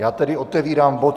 Já tedy otevírám bod